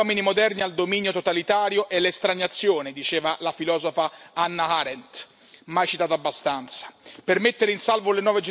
Quel che prepara così bene gli uomini moderni al dominio totalitario è l'estraniazione, diceva la filosofa Hannah Arendt, mai citata abbastanza.